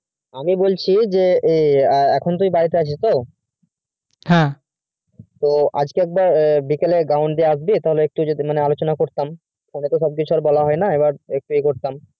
আমি বলছি যে এখন তুই বাড়িতে আছি তো তবে হ্যাঁ আজকে তুই একবার বিকালে ground দিয়ে আসবি সেখানে একটু আলোচনা করতাম phone এ তো সব কিছু বলে হয় না